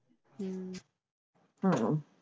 ਹਮ